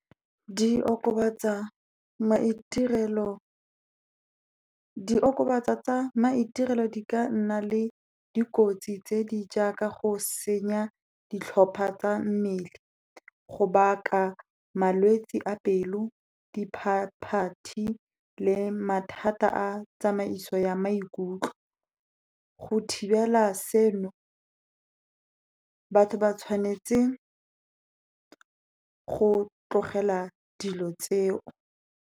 Diokobatsa tsa maiterelo di ka nna le dikotsi tse di jaaka go senya ditlhopha tsa mmele, go baka malwetsi a pelo, diphaphathi le mathata a tsamaiso ya maikutlo. Go thibela seno, batho ba tshwanetse go tlogela seno.